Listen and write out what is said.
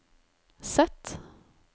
Z